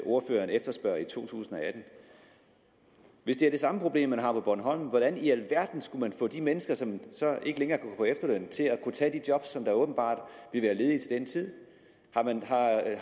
ordføreren efterspørger i to tusind og atten hvis det er det samme problem man har på bornholm hvordan i alverden skulle man så få de mennesker som ikke længere kan på efterløn til at kunne tage de job som åbenbart vil være ledige til den tid